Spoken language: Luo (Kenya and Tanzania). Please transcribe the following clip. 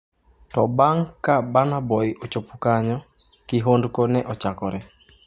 To babg' ka Burna Boy ochopo kanyo, kihondko ne ochakore.